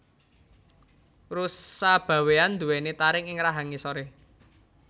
Rusa bawean duweni taring ing rahang ngisore